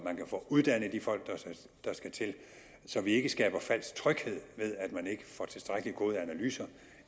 man kan få uddannet de folk der skal til så vi ikke skaber falsk tryghed ved at man ikke får tilstrækkelig gode analyser